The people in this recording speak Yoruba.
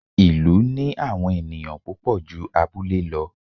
ìlú ní àwọn ẹniyan púpò jú abúlé lọ